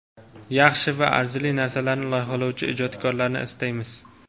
yaxshi va arzirli narsalarni loyihalovchi ijodkorlarni istaymiz.